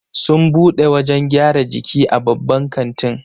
Sun bude wajan gyran jiki a babban katin